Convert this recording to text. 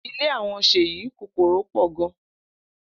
Ile awon Seyi kokoro po gan.